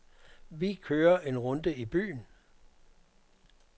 Vi kører en runde i byen.